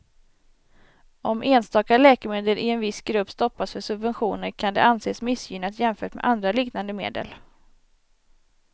Om enstaka läkemedel i en viss grupp stoppas för subventioner kan det anses missgynnat jämfört med andra liknande medel.